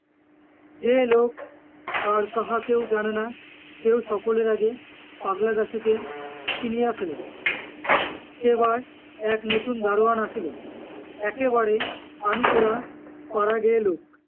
যে লোক আর কাহাকেও জানে না, সেও সকলের আগে পাগলা দাশুকে চিনিয়া ফেলে। সেবার এক নতুন দারোয়ান আসিল, একেবারে আনকোরা পাড়াগেঁয়ে লোক,